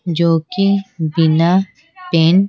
जो कि बिना पेन --